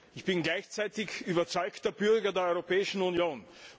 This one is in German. Ich bin gleichzeitig überzeugter Bürger der Europäischen Union.